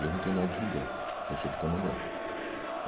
Eu não tenho nada de judeu, eu sou do Candomblé.